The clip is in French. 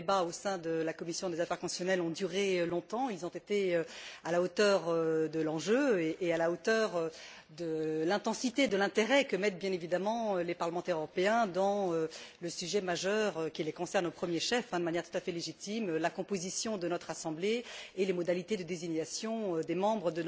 Les débats au sein de la commission des affaires constitutionnelles ont duré longtemps, ils ont été à la hauteur de l'enjeu et à la hauteur de l'intensité et de l'intérêt qu'accordent, bien évidemment, les parlementaires européens au sujet majeur qui les concerne au premier chef, de manière tout à fait légitime la composition de notre Assemblée et les modalités de désignation de ses membres.